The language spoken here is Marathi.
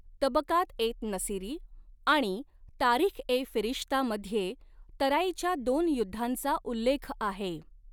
तबकात ए नसीरी आणि तारीख ए फिरिश्तामध्ये तराईच्या दोन युद्धांचा उल्लेख आहे.